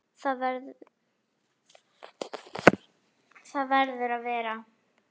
Það verður að vera.